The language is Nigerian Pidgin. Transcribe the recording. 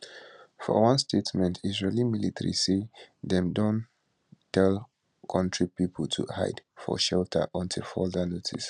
for one statement israeli military say dem don tell kontri pipo to hide for shelter until further noticed